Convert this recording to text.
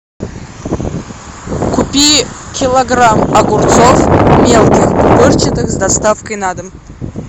купи килограмм огурцов мелких пупырчатых с доставкой на дом